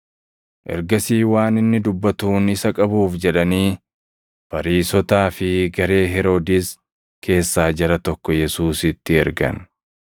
Ergasii waan inni dubbatuun isa qabuuf jedhanii Fariisotaa fi garee Heroodis keessaa jara tokko Yesuusitti ergan.